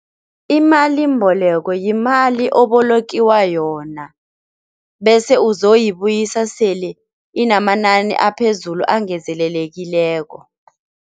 Imalimboleko yimali obolokiwa yona bese uzoyibuyisa sele inamanani aphezulu angezelelekileko.